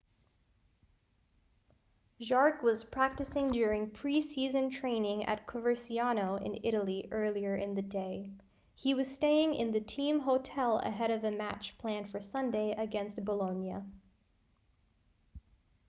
jarque was practicing during pre-season training at coverciano in italy earlier in the day he was staying in the team hotel ahead of a match planned for sunday against bolonia